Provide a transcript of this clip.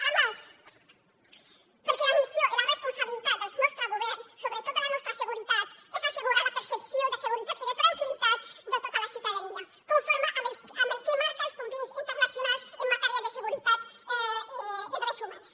a més perquè la missió i la responsabilitat del nostre govern sobretot de la nostra seguretat és assegurar la percepció de seguretat i de tranquil·litat de tota la ciutadania conforme amb el que marquen els convenis internacionals en matèria de seguretat i drets humans